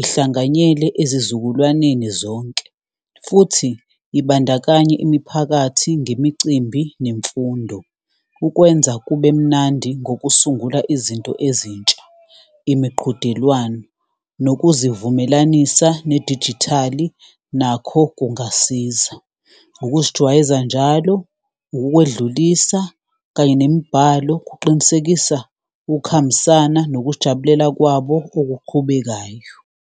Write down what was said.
Ihlanganyele ezizukulwaneni zonke, futhi ibandakanye imiphakathi ngemicimbi nemfundo. Ukwenza kube mnandi ngokusungulwa izinto ezintsha, imiqhudelwano, nokuzivumelanisa nedijithali, nakho kungasiza ukuzijwayeza njalo. Ukukwedlulisa kanye nemibhalo kuqinisekisa ukuhambisana nokujabulela kwabo okuqhubekayo.